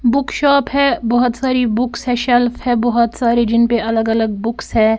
Book shop है बहुत सारी बुक्स है शेल्फ है बहुत सारे जिन पे अलग-अलग बुक्स है।